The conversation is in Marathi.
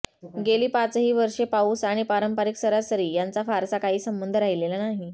गेली पाचही वर्षे पाउस आणि परंपारिक सरासरी यांचा फारसा काही संबंध राहिलेला नाही